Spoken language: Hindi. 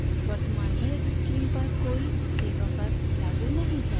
वर्तमान में इस स्कीम पर कोई सेवा कर लागू नहीं है